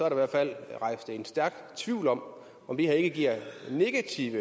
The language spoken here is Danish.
i hvert fald er rejst en stærk tvivl om om det her ikke giver negativ